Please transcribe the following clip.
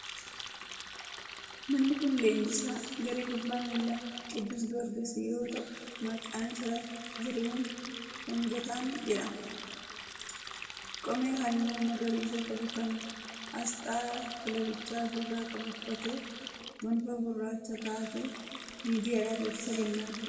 Namni kun leenjisaa garee kubbaa miilaa 'Qidduus Giyoorgis' yoo ta'u, maqaan isaa Zarihuun Shangataan jedhama. Qomee halluu magariisa qabu, kan aasxaa kilabichaa ofirraa qabu uffatee, gonfoo gurraacha kaa'atee miidiyaadhaaf ibsa kennaa jira.